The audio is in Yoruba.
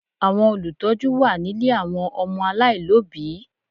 Àwọn Olùtọ́jú wà nílé àwọn ọmọ aláìlóbìí